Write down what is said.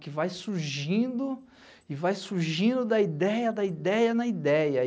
Que vai surgindo e vai surgindo da ideia, da ideia na ideia.